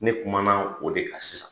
Ne kuma na o de ka sisan.